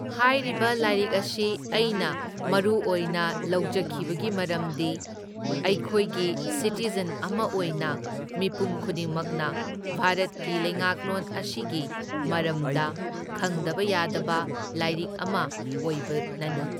ꯍꯥꯏꯔꯤꯕ ꯂꯥꯏꯔꯤꯛ ꯑꯁꯤ ꯑꯩꯅ ꯃꯔꯨ ꯑꯣꯏꯅ ꯂꯧꯖꯈꯤꯕꯒꯤ ꯃꯔꯝꯗꯤ ꯑꯩꯈꯣꯏꯒꯤ ꯁꯤꯇꯤꯖꯟ ꯑꯃ ꯑꯣꯏꯅ ꯃꯤꯄꯨꯝ ꯈꯨꯗꯤꯡꯃꯛꯅ ꯚꯥꯔꯠꯀꯤ ꯂꯩꯉꯥꯛꯂꯣꯟ ꯑꯁꯤꯒꯤ ꯃꯔꯝꯗ ꯈꯪꯗꯕ ꯌꯥꯗꯕ ꯂꯥꯏꯔꯤꯛ ꯑꯃ ꯑꯣꯏꯕꯅꯅꯤ꯫